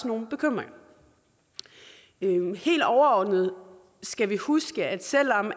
nogle bekymringer helt overordnet skal vi huske at selv om